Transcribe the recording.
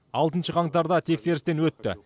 алтыншы қаңтарда тексерістен өтті